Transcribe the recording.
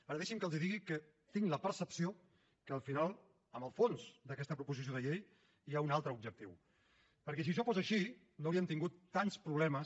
ara deixi’m que els digui que tinc la percepció que al final en el fons d’aquesta proposició de llei hi ha un altre objectiu perquè si això fos així no haurien tingut tants problemes